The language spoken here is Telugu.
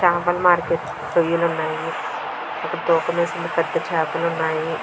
చేపల మార్కెట్ రొయ్యలు ఉన్నాయి. తూకం వేసిన పెద్ధ చేపలు ఉన్నాయి.